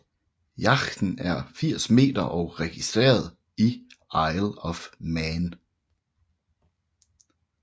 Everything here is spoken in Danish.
Yachten er 80 meter og registreret i Isle of Man